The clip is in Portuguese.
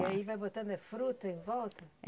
E aí vai botando é fruta em volta?